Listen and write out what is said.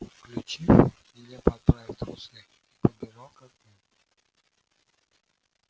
вскочив нелепо оправив трусы я подбежал к окну